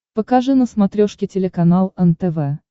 покажи на смотрешке телеканал нтв